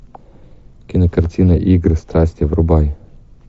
кинокартина игры страсти врубай